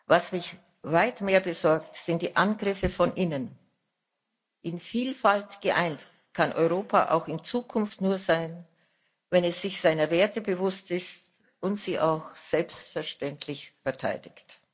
Was mich weit mehr besorgt, sind die Angriffe von innen. In Vielfalt geeint kann Europa auch in Zukunft nur sein, wenn es sich seiner Werte bewusst ist und sie auch selbstverständlich verteidigt.